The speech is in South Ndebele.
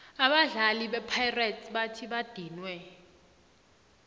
abadali bepirates bathi badiniwe